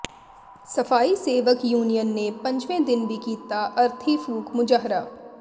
ਸਫ਼ਾਈ ਸੇਵਕ ਯੂਨੀਅਨ ਨੇ ਪੰਜਵੇਂ ਦਿਨ ਵੀ ਕੀਤਾ ਅਰਥੀ ਫ਼ੂਕ ਮੁਜ਼ਾਹਰਾ